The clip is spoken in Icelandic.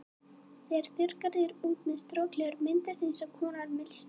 Þegar þurrkað er út með strokleðri myndast eins konar mylsna.